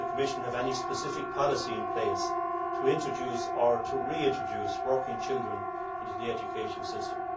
Does the Commission have any specific policy in place to introduce, or to reintroduce, working children into the education system?